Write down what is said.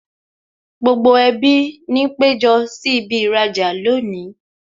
Gbogbo ẹbí ni péjọ sí ibi īrajà lónìí